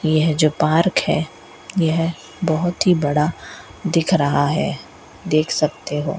यह जो पार्क है यह बहोत ही बड़ा दिख रहा है देख सकते हो --